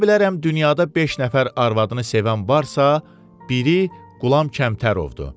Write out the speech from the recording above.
Deyə bilərəm dünyada beş nəfər arvadını sevən varsa, biri Qulam Kəmtərovdur.